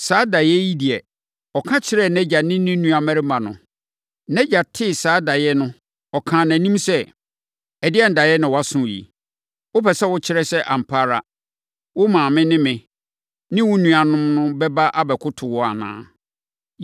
Saa daeɛ yi deɛ, ɔka kyerɛɛ nʼagya ne ne nuammarimanom no. Nʼagya tee saa daeɛ no, ɔkaa nʼanim sɛ, “Ɛdeɛn daeɛ na woaso yi? Wopɛ sɛ wokyerɛ sɛ ampa ara, wo maame ne me ne wo nuammarimanom no bɛba abɛkoto wo anaa?”